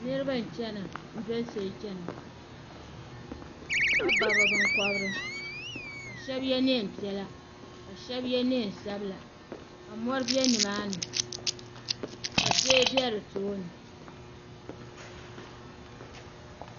niriba n-chana n-doli soli chana ka ba bɛ binkɔbiri ka shɛba ye neen' piɛla ka shɛba ye neen' sabila ka mɔri be ni maa ni ka zoya be di tooni.